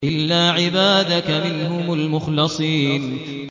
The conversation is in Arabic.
إِلَّا عِبَادَكَ مِنْهُمُ الْمُخْلَصِينَ